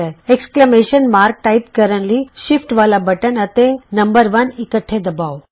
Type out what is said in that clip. exclamation ਵਿਸਮਤ ਚਿੰਨ੍ਹ type ਕਰਨ ਲਈ ਸ਼ਿਫਟ ਵਾਲਾ ਬਟਨ ਅਤੇ ਅੰਕ 1 ਇਕੱਠੇ ਦਬਾਉ